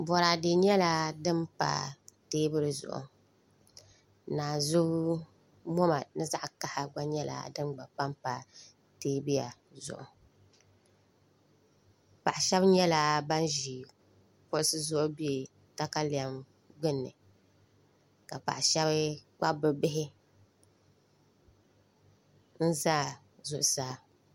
Boraadɛ nyɛla din pa teebuli zuɣu naanzu moma ni zaɣ kaɣa nyɛla din gba panpa teebuya zuɣu paɣa shab nyɛla ban ʒi kuɣusi zuɣu bɛ katalɛm gbuni ka paɣa shab kpabi bi bihi n ʒɛ zuɣusaa